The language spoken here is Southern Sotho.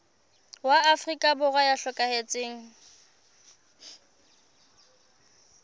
wa afrika borwa ya hlokahetseng